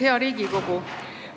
Hea Riigikogu!